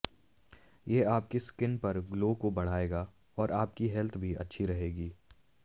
ये आपकी स्किन पर ग्लो को बढ़ाएगा और आपकी हेल्थ भी अच्छी रहेगी